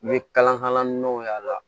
N ye kalan min y'a la